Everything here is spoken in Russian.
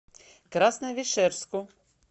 красновишерску